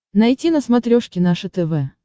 найти на смотрешке наше тв